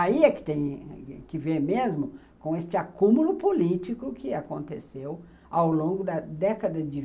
Aí é que tem que ver mesmo com esse acúmulo político que aconteceu ao longo da década de